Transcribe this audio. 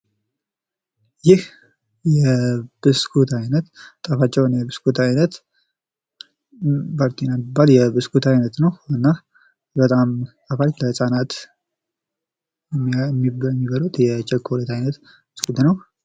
ይህ ብስኩት አይነት ጣፋጭ የሆነ የብስኩት አይነት ባርቲና የሚባል የብስኩት አይነት ነዉ። እና በጣም ጣፋጭ የህፃናት የሚበሉት የቸኮሌት አይነት ነዉ።